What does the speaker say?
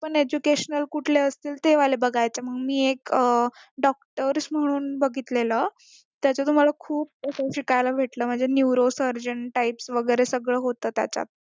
पण educational कुठले असतील ते वाले बघायचे मग मी एक doctors म्हणून बघितलेल त्याचा तर मला खूप असा शिकायला भेटलं म्हणजे neurosurgeon type सगळं होतं त्याच्यात